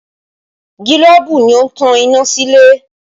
Gilobu ni ó ń tan iná sílé